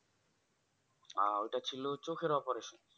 আহ ওটা ছিল চোখের operation